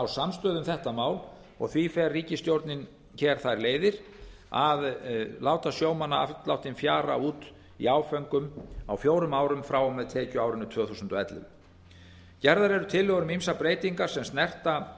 samstöðu um þetta mál og því fer ríkisstjórnin nú þær leiðir að að láta sjómannaafsláttinn fjara út í áföngum á fjórum árum frá og með tekjuárinu tvö þúsund og ellefu gerðar eru tillögur um ýmsar breytingar sem snerta